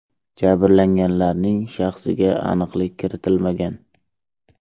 Jabrlanganlarning shaxsiga aniqlik kiritilmagan.